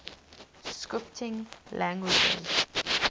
scripting languages